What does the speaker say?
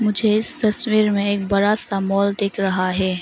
मुझे इस तस्वीर में एक बड़ा सा माल दिख रहा है।